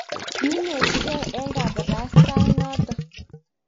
kiinetitegei ne eng' kabarastae noto?